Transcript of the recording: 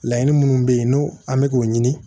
Laɲini minnu bɛ yen n'o an bɛ k'o ɲini